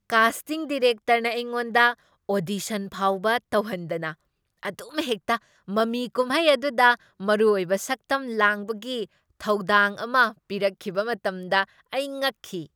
Casting ꯗꯤꯔꯦꯛꯇꯔꯅ ꯑꯩꯉꯣꯟꯗ audition ꯐꯥꯎꯕ ꯇꯧꯍꯟꯗꯅ ꯑꯗꯨꯝ ꯍꯦꯛꯇ ꯃꯃꯤ ꯀꯨꯝꯍꯩ ꯑꯗꯨꯗ ꯃꯔꯨꯑꯣꯏꯕ ꯁꯛꯇꯝ ꯂꯥꯡꯕꯒꯤ ꯊꯧꯗꯥꯡ ꯑꯗꯨ ꯄꯤꯔꯛꯈꯤꯕ ꯃꯇꯝꯗ ꯑꯩ ꯉꯛꯈꯤ ꯫